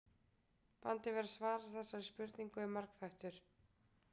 Vandinn við að svara þessari spurningu er margþættur.